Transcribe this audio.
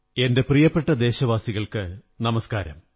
എന്റെ പ്രിയപ്പെട്ട ദേശവാസികള്ക്കു നമസ്കാരം